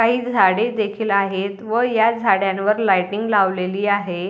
काही झाडे देखील आहेत व या झाडांवर लाइटींग लावलेली आहे.